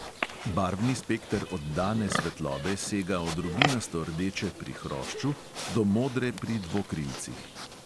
Barvni spekter oddane svetlobe sega od rubinasto rdeče pri hrošču do modre pri dvokrilcih.